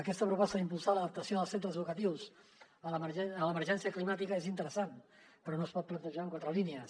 aquesta proposta d’impulsar l’adaptació dels centres educatius a l’emergència climàtica és interessant però no es pot plantejar en quatre línies